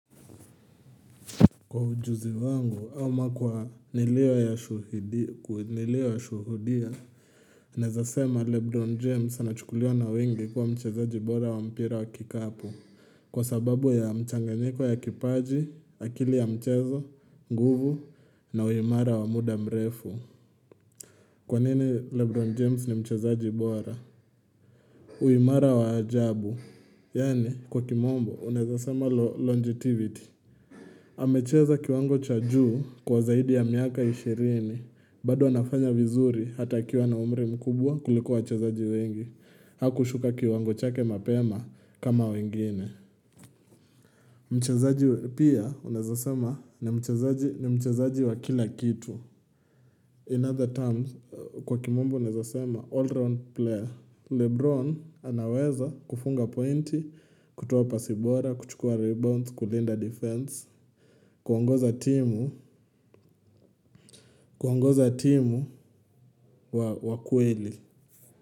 Kwa ujuzi wangu, ama kwa nilio shuhudia, naeza sema Lebron James anachukuliwa na wengi kuwa mchezaji bora wa mpira wa kikapu. Kwa sababu ya mchanganyiko ya kipaji, akili ya mchezo, nguvu, na uimara wa muda mrefu. Kwa nini Lebron James ni mchezaji bora? Uimara wa ajabu. Yani, kwa kimombo, unaezasema longitivity. Amecheza kiwango cha juu kwa zaidi ya miaka ishirini bado anafanya vizuri hata akiwa na umri mkubwa kuliko wachezaji wengi Hakushuka kiwango chake mapema kama wengine Mchezaji pia unaeza sema ni mchezaji wa kila kitu In other terms kwa kimombo unaeza sema all-round player Lebron anaweza kufunga pointi, kutowa pasi bora, kuchukua rebounds, kulinda defense kuongoza timu wa kweli.